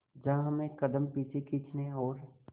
जहां हमें कदम पीछे खींचने और